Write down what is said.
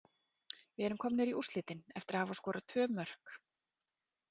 Við erum komnir í úrslitin eftir að hafa skorað tvö mörk.